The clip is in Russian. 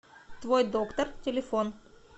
твой доктор телефон